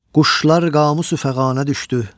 Quşlar qamı su fəğanə düşdü.